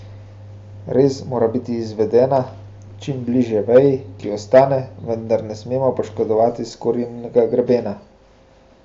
Rez mora biti izvedena čim bliže veji, ki ostane, vendar ne smemo poškodovati skorjinega grebena.